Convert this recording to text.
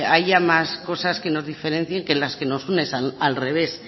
haya más cosas que nos diferencien que las que nos unen al revés